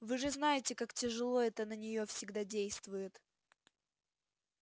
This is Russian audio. вы же знаете как тяжело это на нее всегда действует